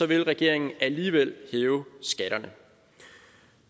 vil regeringen alligevel hæve skatterne